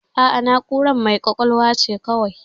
A'a, na'ura mai ƙwaƙwalwa ce kawai.